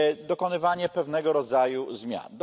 dokonywanie pewnego rodzaju zmian.